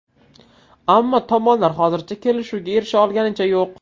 Ammo tomonlar hozircha kelishuvga erisha olganicha yo‘q.